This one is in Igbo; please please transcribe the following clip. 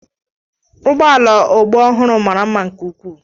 Ụgbọ ala ọgbọ ọhụrụ mara mma nke ukwuu.